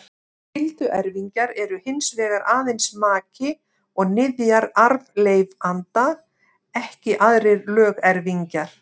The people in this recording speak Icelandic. Skylduerfingjar eru hins vegar aðeins maki og niðjar arfleifanda, ekki aðrir lögerfingjar.